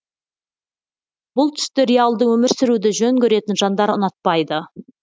бұл түсті реалды өмір сүруді жөн көретін жандар ұнатпайды